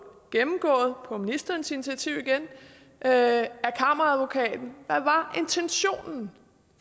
gennemgået på ministerens initiativ igen af kammeradvokaten hvad var intentionen